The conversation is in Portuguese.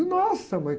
Nossa, mãe!